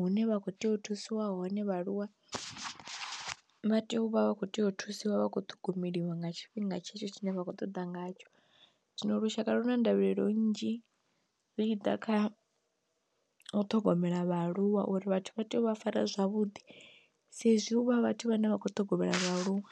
hune vha kho tea u thusiwa hone vhaaluwa vha tea u vha vha kho tea u thusiwa vha kho ṱhogomeliwa nga tshifhinga tshetsho tshine vha khou ṱoḓa ngatsho. Zwino lushaka lu na ndavhelelo nnzhi zwi tshi ḓa kha u ṱhogomela vhaaluwa uri vhathu vha tea u vha fara zwavhuḓi sa izwi u vha vhathu vhane vha kho ṱhogomela vhaaluwa.